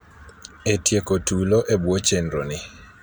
e tieko tulo e bwo chenroni